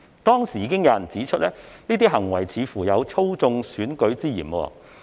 當時已經有人指出，這些行為似乎有操縱選舉之嫌。